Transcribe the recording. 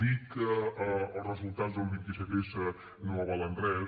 dir que els resultats del vint set s no avalen res